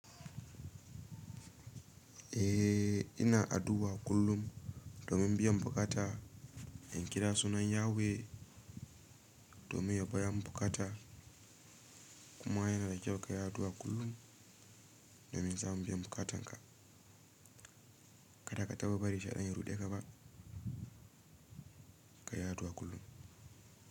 Eh ina addu'a kullum domin biyan bukata, in kira sunan Yahweh domin ya biya min bukata. Kuma yana da kyau ka yi addu'a kullum domin samu biya bukatanka. Kada ka taba bari shaidan ya ruɗe ka ba, ka yi addu'a kullum.